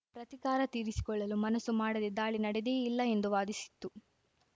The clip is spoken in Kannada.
ಪ್ರತೀಕಾರ ತೀರಿಸಿಕೊಳ್ಳಲೂ ಮನಸ್ಸು ಮಾಡದೇ ದಾಳಿ ನಡೆದಿಯೇ ಇಲ್ಲ ಎಂದು ವಾದಿಸಿತ್ತು